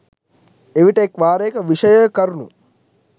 එවිට එක් වාරයක විෂයය කරුණු